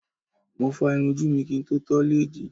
Mo fá irun ojú mi kí n tó tọ́ lẹ́ẹ̀dì.